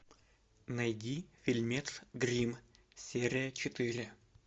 найди фильмец гримм серия четыре